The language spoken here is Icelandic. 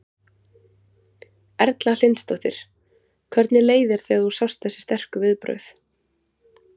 Erla Hlynsdóttir: Hvernig leið þér þegar þú sást þessi sterku viðbrögð?